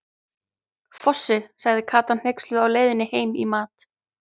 Fossi, sagði Kata hneyksluð á leiðinni heim í mat.